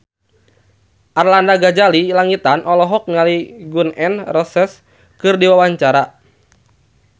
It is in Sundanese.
Arlanda Ghazali Langitan olohok ningali Gun N Roses keur diwawancara